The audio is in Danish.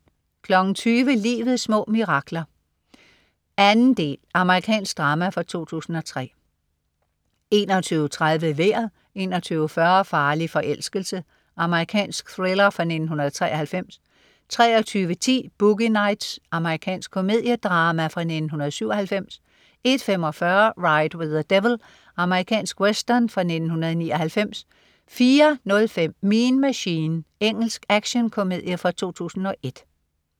20.00 Livets små mirakler 2. Amerikansk drama fra 2003 21.30 Vejret 21.40 Farlig forelskelse. Amerikansk thriller fra 1993 23.10 Boogie Nights. Amerikansk komediedrama fra 1997 01.45 Ride with the Devil. Amerikansk western fra 1999 04.05 Mean Machine. Engelsk actionkomedie 2001